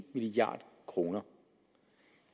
milliard kroner